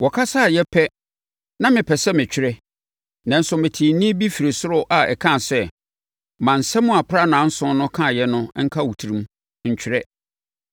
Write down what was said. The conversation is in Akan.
Wɔkasaeɛ pɛ, na mepɛ sɛ metwerɛ. Nanso, metee nne bi firii ɔsoro a ɛkaa sɛ, “Ma nsɛm a aprannaa nson no kaeɛ no nka wo tirim. Ntwerɛ!”